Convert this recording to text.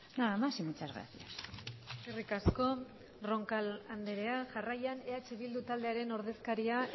nada más y muchas gracias eskerrik asko roncal andrea jarraian eh bildu taldearen ordezkaria